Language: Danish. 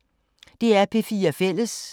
DR P4 Fælles